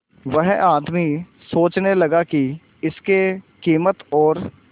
वह आदमी सोचने लगा की इसके कीमत और